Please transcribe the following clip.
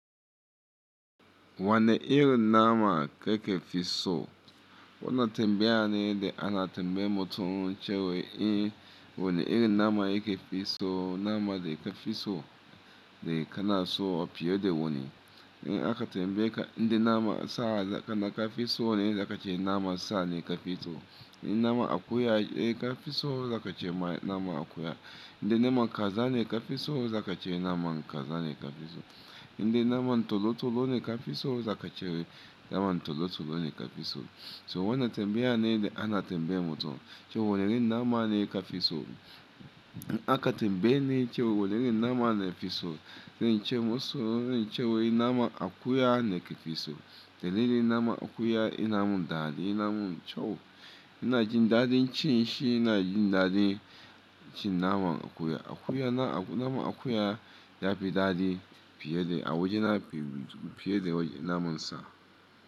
Wane irin nama ka kefi so? Wana tambaya ne da ana tambaye mutum cewa in wane irin nama yake fi so, nama da ka fi so da kana so a fiye da wani. In aka tambaye ka, "Inda nama sa zakana ka fi so ne?" Zakace nama sa ne ka fi so. In nama akuya ka fi so zakace nama akuya. Inda naman kaza ne ka fi so zakace naman kaza ne ka fi so. Inda naman tolotolo ne ka fi so zakace naman tolotolo ne ka fi so. So wana tambaya ne da ana tambaye mutum cewa wane irin nama ne ka fi so. In aka tambaye ni cewa wane irin nama na fi so, zan ce masa zan ce wai nama akuya na ke fi so. Dalili naman akuya yana mun dadi, yana mun kyau. Ina jin daɗin ci, shi ina jin daɗin ci naman akuya. Akuya na naman akuya yafi dadi fiye da a waje na fiye da naman sa.